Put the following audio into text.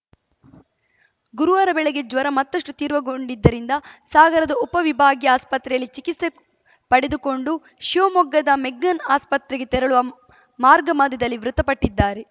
ಗುರುವಾರ ಬೆಳಗ್ಗೆ ಜ್ವರ ಮತ್ತಷ್ಟುತೀರ್ವಗೊಂಡಿದ್ದರಿಂದ ಸಾಗರದ ಉಪವಿಭಾಗೀಯ ಆಸ್ಪತ್ರೆಯಲ್ಲಿ ಚಿಕಿಸ್ತೆ ಪಡೆದುಕೊಂಡು ಶಿವಮೊಗ್ಗದ ಮೆಗ್ಗಾನ್‌ ಆಸ್ಪತ್ರೆಗೆ ತೆರಳುವ ಮಾರ್ಗಮಧ್ಯದಲ್ಲಿ ಮೃತಪಟ್ಟಿದ್ದಾರೆ